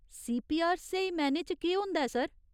CPR स्हेई मैह्‌नें च केह् होंदा ऐ, सर ?